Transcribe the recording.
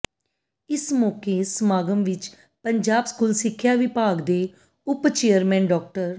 ਇਸ ਮੌਕੇ ਸਮਾਗਮ ਵਿੱਚ ਪੰਜਾਬ ਸਕੂਲ ਸਿੱਖਿਆ ਵਿਭਾਗ ਦੇ ਉਪ ਚੇਅਰਮੈਨ ਡਾ